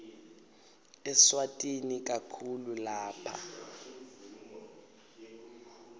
eswatini kakhulu lapha